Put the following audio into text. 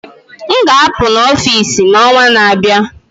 m ga-apụ na Office n'ọnwa na-abịa